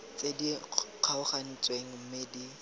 tse di kgaogantsweng mme di